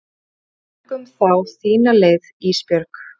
Göngum þá þína leið Ísbjörg.